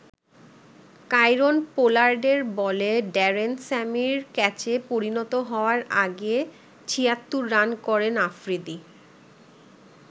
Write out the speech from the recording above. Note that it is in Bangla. কাইরন পোলার্ডের বলে ড্যারেন স্যামির ক্যাচে পরিণত হওয়ার আগে ৭৬ রান করেন আফ্রিদি।